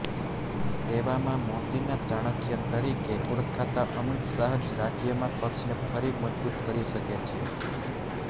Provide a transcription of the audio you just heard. તેવામાં મોદીના ચાણક્ય તરીકે ઓળખાતા અમિત શાહ જ રાજ્યમાં પક્ષને ફરી મજબૂત કરી શકે છે